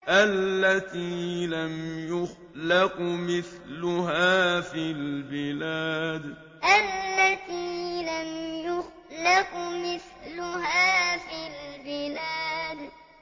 الَّتِي لَمْ يُخْلَقْ مِثْلُهَا فِي الْبِلَادِ الَّتِي لَمْ يُخْلَقْ مِثْلُهَا فِي الْبِلَادِ